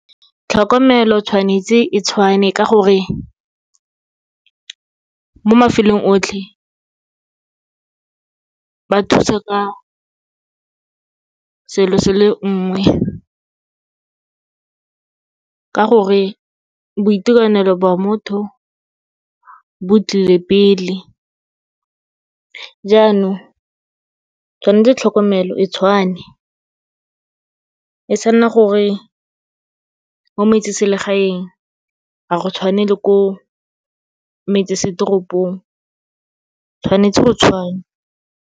Tlhokomelo tshwanetse e tshwane, ka gore mo mafelong otlhe, ba thusa ka selo se le nngwe, ka gore boitekanelo bwa motho bo tlile pele. Jaanong, tshwanetse tlhokomelo e tshwane, e sa nna gore mo metseselegaeng ga go tshwane le ko metsesetoropong, tshwanetse go tshwane.